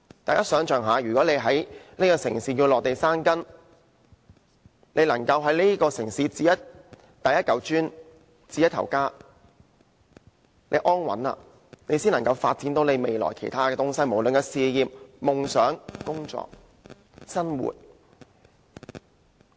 大家想象一下，如果要在這個城市落地生根，便要在這城市置第一塊磚，置一頭家，只有安穩了，未來才可在其他方面發展，不論是事業、夢想、工作，還是生活。